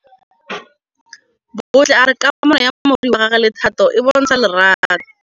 Bontle a re kamanô ya morwadi wa gagwe le Thato e bontsha lerato.